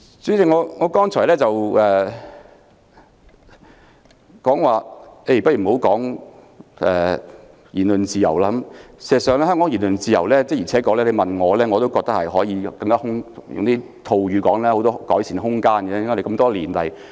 主席，我剛才說過不談言論自由，而事實上，要評論香港的言論自由，的確我覺得可以套用一句說話，便是還有很多改善空間。